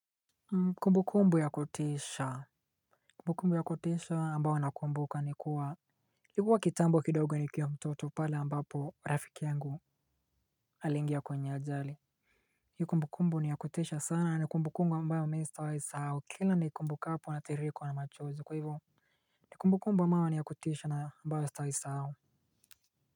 Kumbu kumbu ya kutisha Kumbu kumbu ya kutisha ambayo nakumbuka nikuwa Kikuwa kitambo kidogo nikiwa mtoto pale ambapo rafiki yangu alingia kwenye ajali hiyo kumbukumbu ni ya kutisha sana ni kumbukumbu ambayo mimi sitaisahau kila niikumbukapo natiririkwa na machozi kwaivo ni kumbukumbu ambayo ni ya kutisha ambayo sitaisahau.